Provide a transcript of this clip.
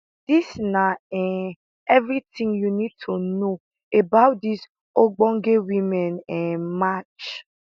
dis na um evritin you need to know about dis ogbonge women um match